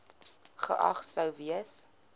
geag sou gewees